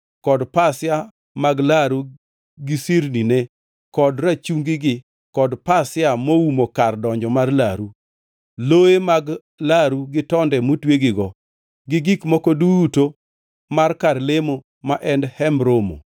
kod pasia mag laru, gi sirnine kod rachungigi, kod pasia moumo kar donjo mar laru; loye mag laru gi tonde motwegigo, gi gik moko duto mar kar lemo ma en Hemb Romo;